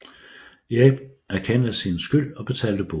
Erik erkendte sin skyld og betalte bod